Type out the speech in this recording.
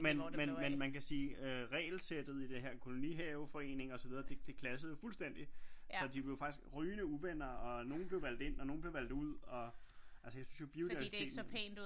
Men man kan sige øh regelsættet i det her kolonihaveforening det clashede jo fuldstændig så de blev faktisk rygende uvenner og nogle blev valgt ind og nogle blev valgt ud og altså jeg synes jo biodiversiteten